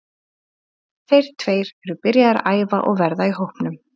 Þeir tveir eru byrjaðir að æfa og verða í hópnum.